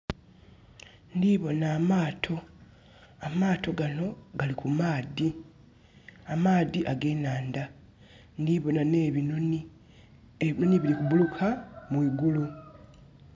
Ndhibonha amaato, amaato ganho gali ku maadhi, amaadhi ag'enhandha. Ndhibonha nebinhonhi, ebinhonhi biri kubuluka mwi gulu.